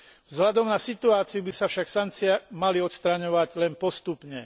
Vzhľadom na situáciu by sa však sankcie mali odstraňovať len postupne.